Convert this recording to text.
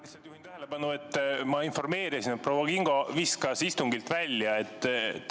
Lihtsalt juhin tähelepanu, et ma informeerisin, et proua Kingo arvuti viskas ta istungilt välja.